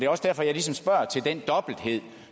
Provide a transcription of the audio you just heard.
også derfor jeg ligesom spørger til den dobbelthed